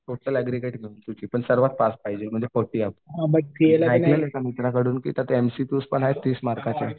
Total पण सर्वात पास पाहिजे ऐकलेलं एका मित्राकडून की एमसीक्यू आहेत तीस मार्कचे.